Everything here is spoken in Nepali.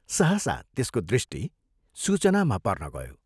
सहसा त्यसको दृष्टि सूचनामा पर्न गयो।